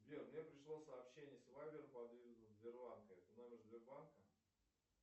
сбер мне пришло сообщение с вайбер под видом сбербанка это номер сбербанка